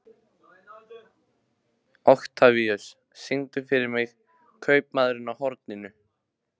Oktavíus, syngdu fyrir mig „Kaupmaðurinn á horninu“.